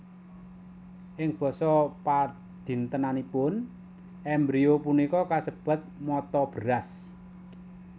Ing basa padintenanipun embrio punika kasebat mata beras